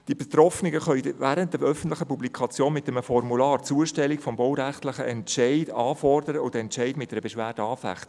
Die Betroffenen können während der öffentlichen Publikation mit einem Formular die Zustellung des baurechtlichen Entscheids anfordern und den Entscheid mit einer Beschwerde anfechten.